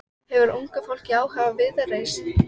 Hefur unga fólkið áhuga á Viðreisn?